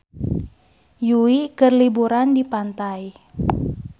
Yui keur liburan di pantai